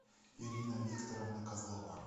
ирина викторовна козлова